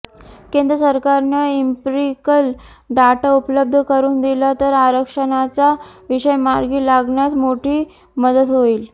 केंद्र सरकारनं empirical data उपलब्ध करून दिला तर आरक्षणाचा विषय मार्गी लागण्यास मोठी मदत होईल